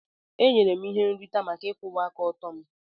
E nyere m ihe nrite maka ịkwụwa aka ọtọ m.